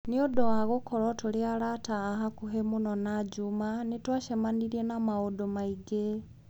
Nĩ ũndũ wa gũkorũo tũrĩ arata a hakuhĩ mũno na Juma, nĩ twacemanirie na maũndũ maingĩ.